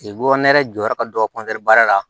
Bɔ nɛrɛ jɔra ka don baara la